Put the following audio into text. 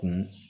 Kun